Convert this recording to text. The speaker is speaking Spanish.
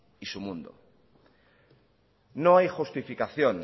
y su mundo no hay justificación